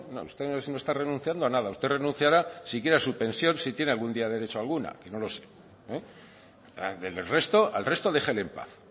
no ustedes no está renunciando a nada usted renunciará si quiere a su pensión si tiene algún día derecho alguna que no lo sé al resto déjele en paz